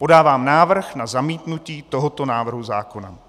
Podávám návrh na zamítnutí tohoto návrhu zákona.